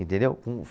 Entendeu? Com